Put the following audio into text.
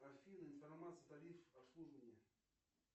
афина информация тариф обслуживания